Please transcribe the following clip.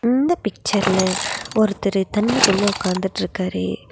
இந்த பிச்சர்ல ஒருத்தரு தண்ணிக்குள்ள உக்காந்துட்ருக்காரு.